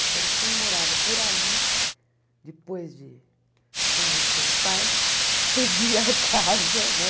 Então, quem morava por ali, depois de convencer os pais, cedia a casa, né?